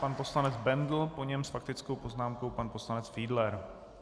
Pan poslanec Bendl, po něm s faktickou poznámkou pan poslanec Fiedler.